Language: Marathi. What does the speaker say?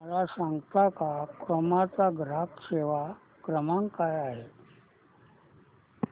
मला सांगता का क्रोमा चा ग्राहक सेवा क्रमांक काय आहे